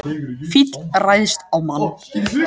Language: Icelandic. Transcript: Fíll ræðst á mann